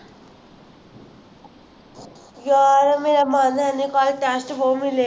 ਯਾਰ ਮੇਰਾ ਮਨ ਹੈ ਨਹੀਂ ਕੱਲ test ਬਹੁਤ ਮਿਲੇ